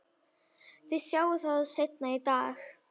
Þið sjáið það seinna í dag.